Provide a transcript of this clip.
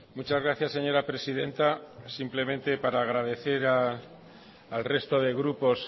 muchas gracias señora presidenta simplemente para agradecer al resto de grupos